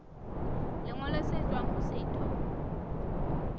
lengolo le tswang ho setho